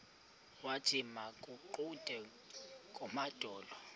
wathi makaguqe ngamadolo